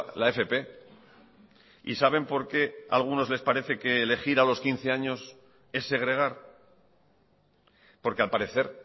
la fp y saben por qué a algunos les parece que elegir a los quince años es segregar porque al parecer